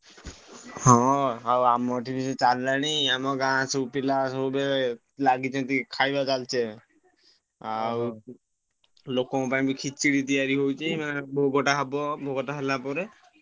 ହଁ ଆଉ ଆମର ବି ସେ ଚାଲିଲାଣି ଆମ ଗାଁ ସବୁ ପିଲା ସବୁ ଏବେ ଲାଗିଛନ୍ତି ଖାଇବା ଚାଲିଛି ଏବେ। ଆଉ ଲୋକଙ୍କ ପାଇଁ ବି ଖେଚେଡି ତିଆରି ହଉଛି ମାନେ ଭୋଗଟା ହବ ଭୋଗଟା ହେଲାପରେ